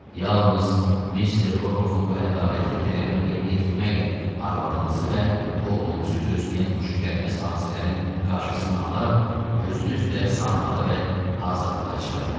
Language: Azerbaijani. Yalnız Mister Rokovun bu ədalətli tələbini yerinə yetirməklə arvadınızı və oğlunuzu gözləyən xoşagəlməz hadisələrin qarşısını ala, özünüz də sağ qala və azadlığa çıxa bilərsiniz.